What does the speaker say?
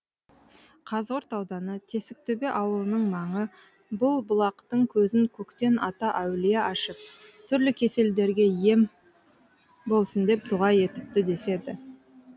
қазығұрт ауданы тесіктөбе ауылының маңыбұл бұлақтың көзін көктен ата әулие ашып түрлі кеселдерге ем болсын деп дұға етіпті деседі